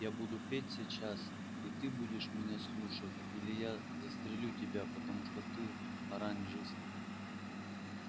я буду петь сейчас и ты будешь меня слушать или я застрелю тебя потому что ты оранжист